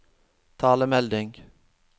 talemelding